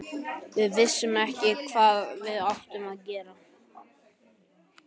Við vissum ekkert hvað við áttum að gera.